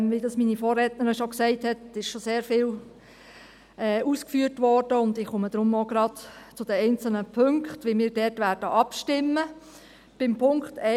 Wie das meine Vorrednerin schon gesagt hat, ist schon sehr viel ausgeführt worden, und ich komme deshalb auch gleich zu den einzelnen Punkten und wie wir dort abstimmen werden.